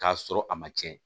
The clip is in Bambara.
K'a sɔrɔ a ma tiɲɛ